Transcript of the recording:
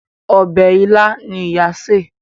Obè ila ní ìyá ṣe.